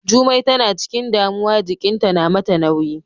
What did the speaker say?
Jummai tana ciƙin damuwa jiƙinta na mata nauyi.